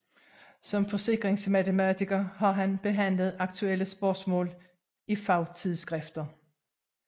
Som Forsikringsmatematiker har han behandlet aktuelle Spørgsmaal i Fagtidsskrifter